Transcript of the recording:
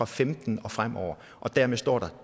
femten og fremover og dermed står der